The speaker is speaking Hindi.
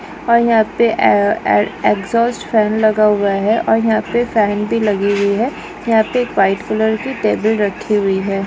और यहाँ पे ए ए एग्जॉस्ट फॅन लगा हुहा है और यहाँ पे फॅन भी लगी हुई है यहाँ पे व्हाइट कलर की टेबल रखी हुई है।